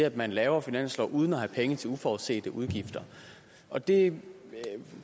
at man laver finanslov uden at have penge til uforudsete udgifter og det